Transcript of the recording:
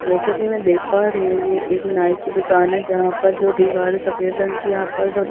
जैसा की मैं देख पा रही हूँ ये एक नाइ की दुकान है जहाँ पर जो दिवार सफ़ेद रंग की यहाँ पर --